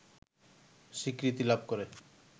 স্বীকৃতি লাভ করে